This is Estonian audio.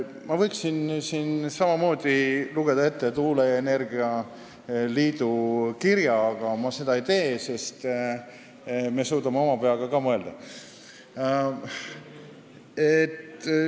Ma võiksin siin samamoodi lugeda ette tuuleenergia liidu kirja, aga ma seda ei tee, sest me suudame oma peaga ka mõelda.